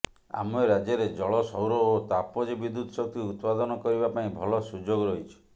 ଆମ ରାଜ୍ୟରେ ଜଳ ସୌର ଓ ତାପଜ ବିଦ୍ୟୁତ ଶକ୍ତି ଉତ୍ପାଦନ କରିବା ପାଇଁ ଭଲ ସୁଯୋଗ ରହିଛି